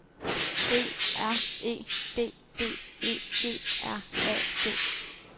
B R E D D E G R A D